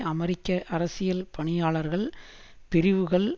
அமெரிக்க அரசியல் பணியாளர்கள் பிரிவுகள்